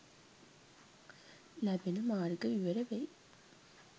ලැබෙන මාර්ග විවර වෙයි.